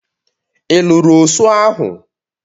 Ị lụrụ osụ ahụ?